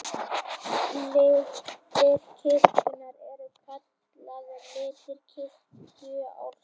Litir kirkjunnar eru kallaðir litir kirkjuársins.